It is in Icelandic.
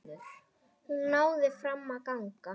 Hún náði fram að ganga.